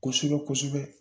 Kosɛbɛ kosɛbɛ